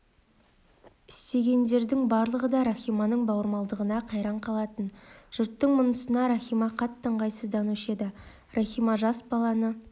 естігендердің барлығы да рахиманың бауырмалдығына қайран қалатын жұрттың мұнысына рахима қатты ыңғайсызданушы еді рахима жас баланы